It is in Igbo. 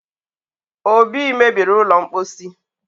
obi mebiri ụlọ mposi